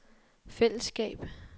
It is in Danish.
fællesskab